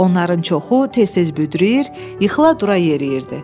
Onların çoxu tez-tez büdrəyir, yıxıla-dura yeriyirdi.